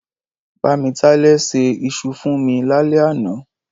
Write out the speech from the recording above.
Bámitálẹ́ ṣẹ isu fún mi lálẹ́ àná.